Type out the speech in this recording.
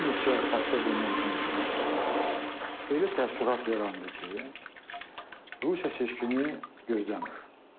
Bir neçə həftə bundan öncə elə təəssürat yarandı ki, Rusiya seçkini gözləmir.